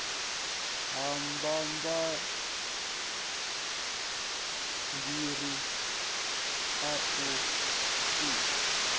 ya mabambiri a u sika